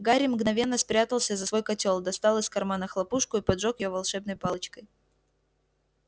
гарри мгновенно спрятался за свой котёл достал из кармана хлопушку и поджёг её волшебной палочкой